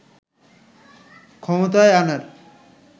ক্ষমতায়আনার